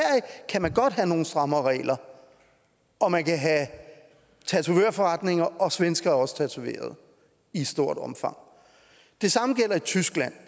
kan man godt have nogle strammere regler og man kan have tatovørforretninger og svenskere er også tatoveret i et stort omfang det samme gælder i tyskland